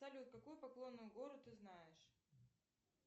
салют какую поклонную гору ты знаешь